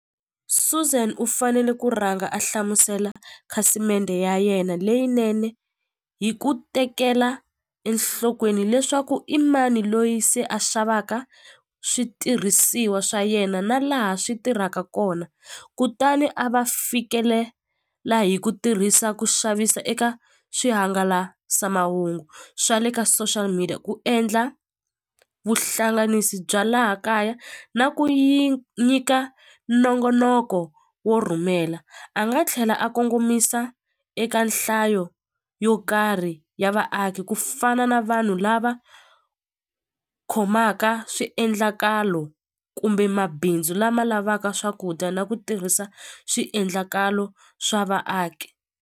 Suzan u fanele ku rhanga a hlamusela khasimende ya yena leyinene hi ku tekela enhlokweni leswaku i mani loyi se a xavaka switirhisiwa swa yena na laha swi tirhaka kona kutani a va fikelela hi ku tirhisa ku xavisa eka swihangalasamahungu swa le ka social media ku endla vuhlanganisi bya laha kaya na ku yi nyika nongonoko wo rhumela a nga tlhela a kongomisa eka nhlayo yo karhi ya vaaki ku fana na vanhu lava khomaka swiendlakalo kumbe mabindzu lama lavaka swakudya na ku tirhisa swiendlakalo swa vaaki.